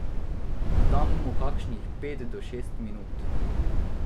Dam mu kakšnih pet do šest minut.